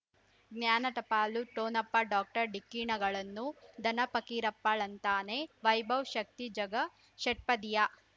ಜ್ಞಾನ ಟಪಾಲು ಠೊಣಪ ಡಾಕ್ಟರ್ ಢಿಕ್ಕಿ ಣಗಳನು ಧನ ಫಕೀರಪ್ಪ ಳಂತಾನೆ ವೈಭವ್ ಶಕ್ತಿ ಝಗಾ ಷಟ್ಪದಿಯ